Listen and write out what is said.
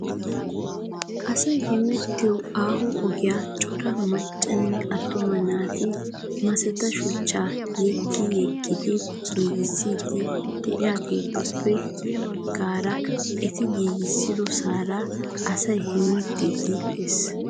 Asay hemettiyo aaho ogiya cora maccanne attuma naati masetta shuchchaa yeggi yeggidi giigissiiddi de'iyaageetuppe ya baggan eti giigissosaara asay hemettiiddi des.